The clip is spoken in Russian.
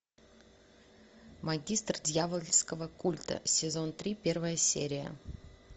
магистр дьявольского культа сезон три первая серия